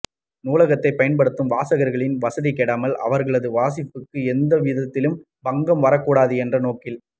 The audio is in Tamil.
நூலகத்தைப் பயன்படுத்தும் வாசகர்களின் வசதி கெடாமல் அவர்களது வாசிப்புக்கு எந்த விதத்திலும் பங்கம் வரக்கூடாது என்ற நோக்கில்